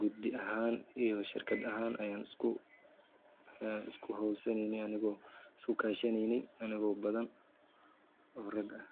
gudi ahaan iyo shirkad aahan ayaan ikuhowshaneyne anagoo iskukaashaneyne anagoo badhan oo rag ah.